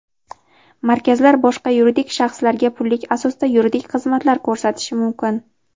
Markazlar boshqa yuridik shaxslarga pullik asosda yuridik xizmatlar ko‘rsatishi mumkin.